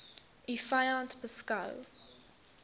u vyand beskou